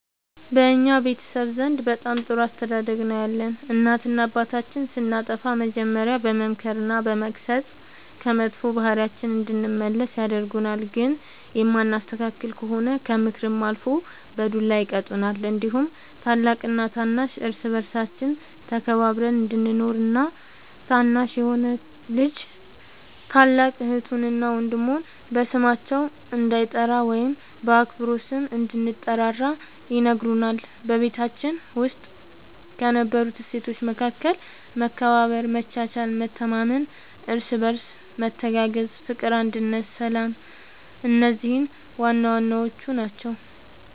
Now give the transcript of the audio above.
በእኛ ቤተሰብ ዘንድ በጣም ጥሩ አስተዳደግ ነው ያለን እናትና አባታችን ስናጠፋ መጀሪያ በመምከር በመገሰፅ ከመጥፎ ባህሪያችን እንድንመለስ ያደርጉናል ግን የማንስተካከል ከሆነ ከምክርም አልፎ በዱላ ይቀጡናል እንዲሁም ታላቅና ታናሽ እርስ በርሳችን ተከባብረን እንድንኖር እና ታናሽ የሆነ ልጅ ታላቅ እህቱን እና ወንድሙ በስማቸው እንዳይጠራ ወይም በአክብሮት ስም እንድንጠራራ ይነግሩናል በቤታችን ውስጥ ከነበሩት እሴቶች መካከል መከባበር መቻቻል መተማመን እርስ በርስ መተጋገዝ ፍቅር አንድነት ሰላም እነዚህ ዋናዋናዎቹ ናቸው